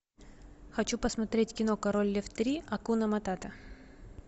хочу посмотреть кино король лев три акуна матата